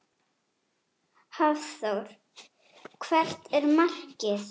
Hafþór: Hvert er markið?